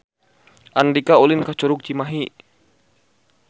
Andika ulin ka Curug Cimahi